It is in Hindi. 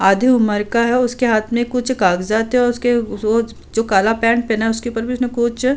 आधी उम्र का है। उसके हाथ में कुछ कागजात है और उसके जो काला पेंट पहना है उसके ऊपर भी उसने कुछ --